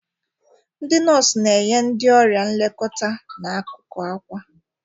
Ndị nọọsụ na-enye ndị ọrịa nlekọta n'akụkụ akwa.